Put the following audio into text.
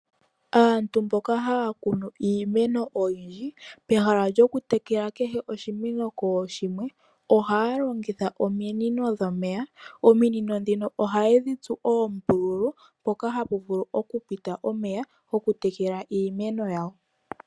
Aantu mboka haya kunu iimeno oyindji. Peha lyo ku tekela kehe oshimeno kooshinwe nooshimwe. Ohaya longitha ominino dhomeya. Ominino ohaye dhi tsu oombululu mpoka hapu vulu oku pita omeya goku tekela iimeno yawo.